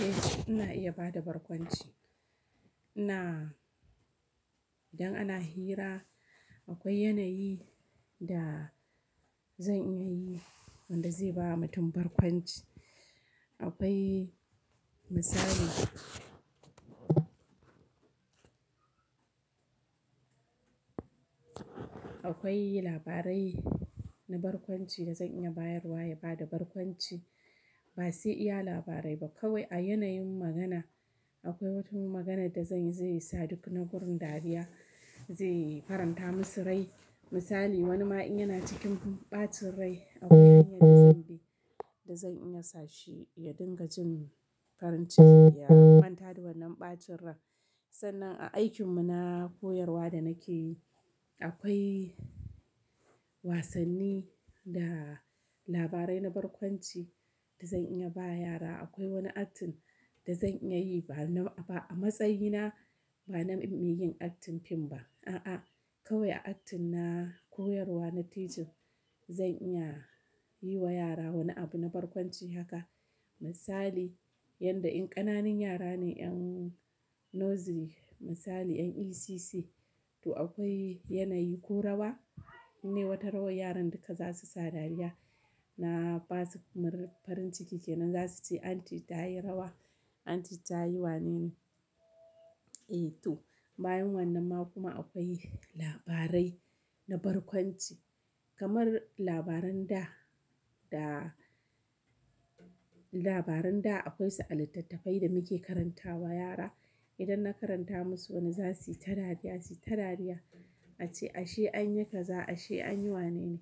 Eh, ina iya bada barkwanci. Idan ana hira akwai yanayi da zan iya yi wanda zai bawa mutum barkwanci. Akwai misali Akwai labarai na barkwanci da zan iya bayarwa ya bada barkwanci, ba sai iya labarai ba kawai a yanayin magana. Akwai wata maganar da zanyi zai sa duk na gurin dariya, zai faranta musu rai. Misali wani ma'aikina cikin ɓacin rai akwai hanya da zan bi da zan iya sa shi ya dinga jin farin ciki ya manta da wannan ɓacin rai. Sannan a aikin mu na koyarwa da nake yi akwai wasanni da labarai na barkwanci da zan iya ba yara. Akwai wani acting da zan iya yi ba na ba a matsayina ba na yin acting fim ba a'a kawai acting na koyarwa na teaching zan iya yi wa yara wani abu na barkwanci haka. Misali yanda in ƙananun yara ne ƴan Nursery misali 'yan ECC to akwai yanayi ko rawa nai wata rawar yaran duka zasu sa dariya na basu farin ciki kenan zasu ce "Aunty ta yi rawa, Aunty ta yi wane ne".Eh to, bayan wannan ma kuma akwai labarai na barkwanci kamar labaran da da labaran da akwai sa littattafai da muke karantawa yara. Idan na karanta musu wani zasu yi ta dariya su yi ta dariya ace "ashe anyi kaza ashe anyi wane ne".